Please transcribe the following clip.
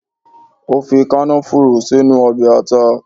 Ó fi kànáfùrù sínú Obè ata